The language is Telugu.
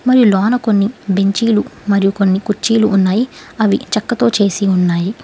మరియు లోన కొన్ని బెంచీలు మరియు కొన్ని కుర్చీలు ఉన్నాయి అవి చెక్కతో చేసి ఉన్నాయి.